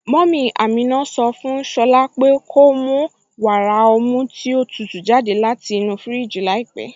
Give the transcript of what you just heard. Mummy Ámínà sọ fún Shọ̀lá po ko mù wàrà ọ̀mù tí o tútú jàdẹ̀ láti inú fíríjì làípẹ̀.